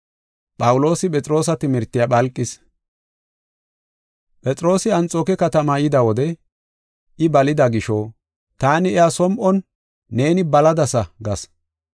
Phexroosi Anxooke katamaa yida wode I balida gisho taani iya som7on “Neeni baladasa” gas.